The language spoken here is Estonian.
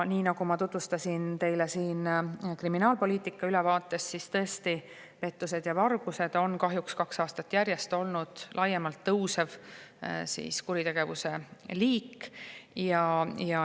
Nii nagu ma tutvustasin teile siin kriminaalpoliitika ülevaates, siis tõesti, pettused ja vargused on kahjuks kaks aastat järjest olnud laiemalt kuritegevuse liik.